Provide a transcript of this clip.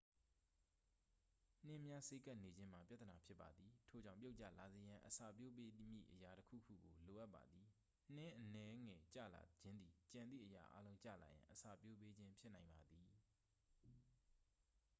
နှင်းများစေးကပ်နေခြင်းမှာ ပြဿနာဖြစ်ပါသည် ထို့ကြောင့် ပြုတ်ကျလာစေရန် အစပျိုးပေးမည့်အရာတစ်ခုခုကို လိုအပ်ပါသည် နှင်းအနည်းငယ်ကျလာခြင်းသည် ကျန်သည့်အရာအားလုံးကျလာရန် အစပျိုးပေးခြင်းဖြစ်နိုင်ပါသည်